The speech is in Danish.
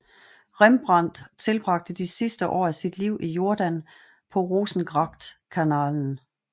Rembrandt tilbragte de sidste år af sit liv i Jordaan på Rozengrachtkanalen